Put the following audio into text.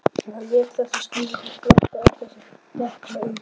Hann lét þessa skýringu flakka án þess að depla auga.